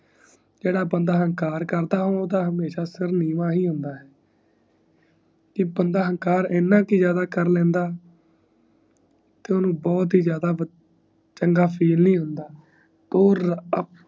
ਜੇਦਾ ਬੰਦਾ ਅਹੰਕਾਰ ਕਰਦਾ ਓਦਾਂ ਸ਼ਹਿਰ ਨੀਵਾਂ ਹੀ ਹੁੰਦਾ ਹੈ ਈ ਬੰਦਾ ਅੰਹਕਾਰ ਇੰਨਾ ਕਰ ਜਾਂਦਾ ਕਰਲੇਂਦਾ ਕਿ ਓਨੁ ਬੜਾ ਜਾਂਦਾ ਚੰਗਾ ਫੀਲ ਨੀ ਹੁੰਦਾ